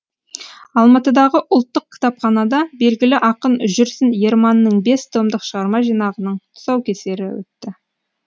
алматыдағы ұлттық кітапханада белгілі ақын жүрсін ерманның бес томдық шығарма жинағының тұсаукесері өтті